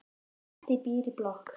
Bettý býr í blokk.